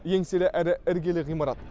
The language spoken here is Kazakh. еңселі әрі іргелі ғимарат